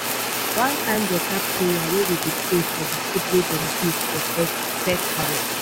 one kin beta prayer wey we dey pray for de food wey dem give for first first harvest.